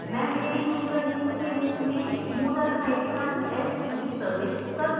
मैं मेरे यूजरनेम के रूप में moodle hyphen st प्रविष्ट करूँगा